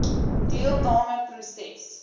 deelnam e proses